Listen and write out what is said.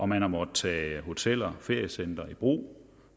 man har måttet tage hoteller og feriecentre i brug